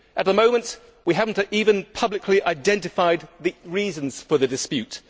At the moment we have not even publicly identified the reasons for the dispute.